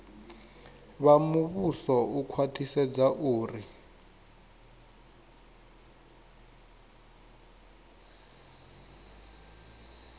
vha muvhuso u khwaṱhisedza uri